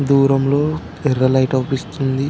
దూరంలో యెర్ర లైటు అవుపిస్తుంది.